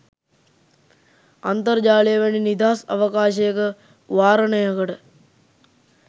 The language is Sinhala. අන්තර්ජාලය වැනි නිදහස් අවකාශයක වාරණයකට